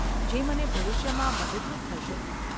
જે મને ભવિષ્યમાં મદદરૂપ થશે.